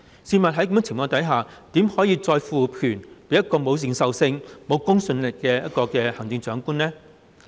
試問在這種情況下，怎可以再賦權予沒有認受性、沒有公信力的行政長官呢？